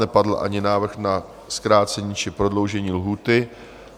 Nepadl ani návrh na zkrácení či prodloužení lhůty.